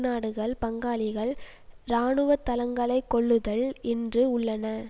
நாடுகள் பங்காளிகள் இராணுவ தளங்களை கொள்ளுதல் என்று உள்ளன